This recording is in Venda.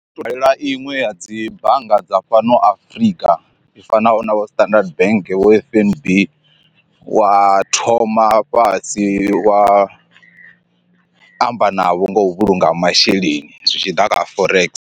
Dalela iṅwe ya dzi bannga dza fhano Afrika i fanaho na vho standard bank vho F_N_B wa thoma fhasi wa amba navho nga u vhulunga masheleni zwi tshiḓa kha forex.